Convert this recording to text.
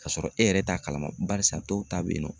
K'a sɔrɔ e yɛrɛ t'a kalama barisa dɔw ta bɛ yen nɔ.